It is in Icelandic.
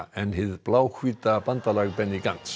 en hið bandalag Benny